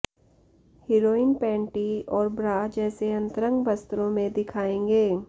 heroine panty और bra जैसे अंतरंग वस्त्रो में दिखायेगें